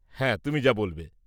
হ্যাঁ, তুমি যা বলবে।